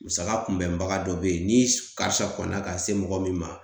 Musaka kunbɛnbaga dɔ be yen ni karisa kɔnna ka se mɔgɔ min ma